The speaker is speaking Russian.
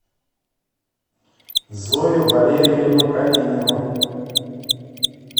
зою валерьевну калинину